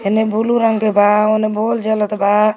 हेने बुलू रंग के बा होने बोल जलत बा।